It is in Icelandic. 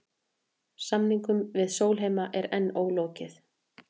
Samningum við Sólheima er enn ólokið